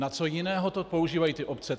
Na co jiného to používají ty obce?